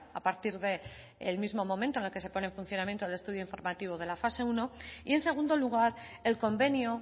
a partir del mismo momento en el que se pone en funcionamiento de estudio informativo de la fase primero y en segundo lugar el convenio